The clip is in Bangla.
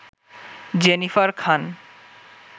জেনিফার খান